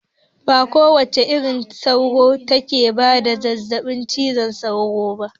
Ba kowace irin sauro take bada zazzaɓin cizon sauro ba